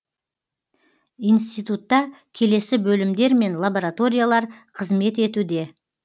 институтта келесі бөлімдер мен лабораториялар қызмет етуде